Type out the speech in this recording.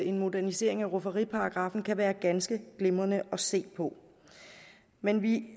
en modernisering af rufferiparagraffen kan være ganske glimrende at se på men vi